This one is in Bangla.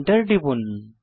Enter টিপুন